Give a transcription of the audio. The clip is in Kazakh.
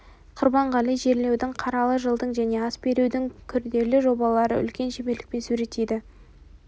құрбанғали жерлеудің қаралы жылдың және ас берудің күрделі жобаларын үлкен шеберлікпен суреттейді